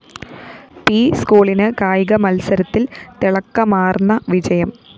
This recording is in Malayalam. പി സ്‌കൂളിന് കായിക മത്സരത്തില്‍ തിളക്കമാര്‍ന്ന വിജയം